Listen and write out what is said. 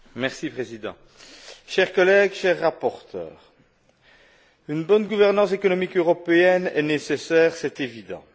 Monsieur le Président, chers collègues, cher rapporteur, une bonne gouvernance économique européenne est nécessaire, c'est évident.